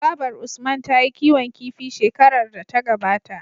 Babar usman tayi kiwon kifi shekarar da ta gabata